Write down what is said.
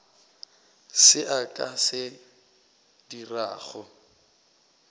se a ka se dirago